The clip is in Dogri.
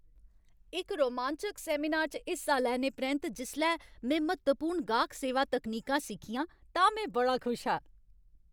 इक रोमांचक सैमिनार च हिस्सा लैने परैंत्त, जिसलै में म्हत्तवपूर्ण गाह्क सेवा तकनीकां सिक्खियां तां में बड़ा खुश हा।